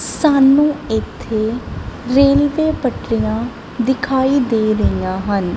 ਸਾਨੂੰ ਇੱਥੇ ਰੇਲਵੇ ਪਟਰੀਆਂ ਦਿਖਾਈ ਦੇ ਰਹੀਆਂ ਹਨ।